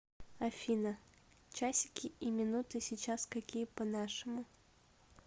афина часики и минуты сейчас какие по нашему